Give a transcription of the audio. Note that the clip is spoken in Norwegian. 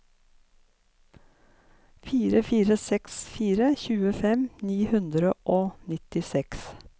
fire fire seks fire tjuefem ni hundre og nittiseks